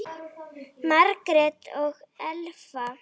Margrét og Elfa.